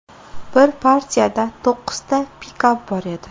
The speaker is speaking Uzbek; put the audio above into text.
Birinchi partiyada to‘qqizta pikap bor edi.